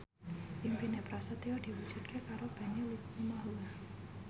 impine Prasetyo diwujudke karo Benny Likumahua